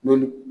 N'olu